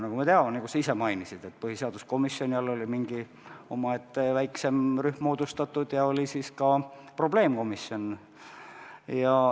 Nagu me teame ja nagu sa ise mainisid, põhiseaduskomisjoni all oli mingi omaette väiksem rühm moodustatud ja oli ka probleemkomisjon.